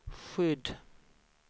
skydd